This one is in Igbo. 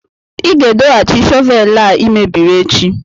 ị ga-edohachi shọvel a ị mebiri echi!